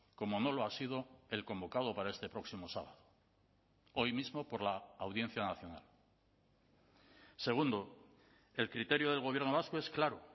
como no lo ha sido el convocado para este próximo sábado hoy mismo por la audiencia nacional segundo el criterio del gobierno vasco es claro